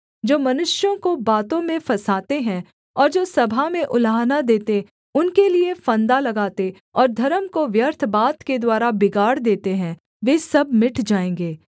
जो मनुष्यों को बातों में फँसाते हैं और जो सभा में उलाहना देते उनके लिये फंदा लगाते और धर्म को व्यर्थ बात के द्वारा बिगाड़ देते हैं वे सब मिट जाएँगे